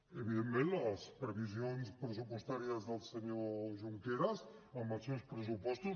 i evidentment les previsions pressupostàries del senyor junqueras amb els seus pressupostos